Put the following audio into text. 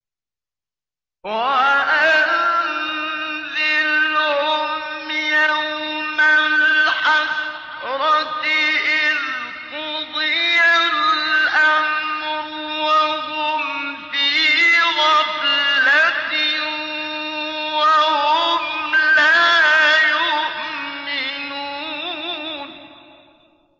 وَأَنذِرْهُمْ يَوْمَ الْحَسْرَةِ إِذْ قُضِيَ الْأَمْرُ وَهُمْ فِي غَفْلَةٍ وَهُمْ لَا يُؤْمِنُونَ